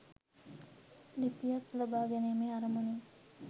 ලිපියක් ලබාගැනීමේ අරමුණින්.